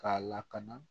K'a lakana